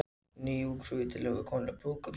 Ný Ungfrú í tilefni konunglega brúðkaupsins